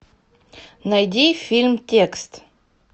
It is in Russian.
найди фильм текст